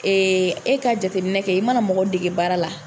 e ka jateminɛ kɛ i mana mɔgɔ dege baara la.